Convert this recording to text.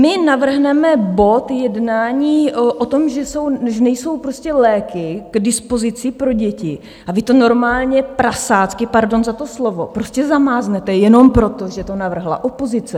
My navrhneme bod jednání o tom, že nejsou prostě léky k dispozici pro děti, a vy to normálně prasácky, pardon za to slovo, prostě zamáznete jenom proto, že to navrhla opozice.